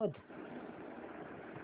शोध